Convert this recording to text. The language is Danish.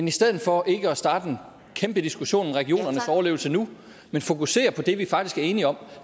i stedet for at starte en kæmpe diskussion om regionernes overlevelse nu fokuserer på det vi faktisk er enige om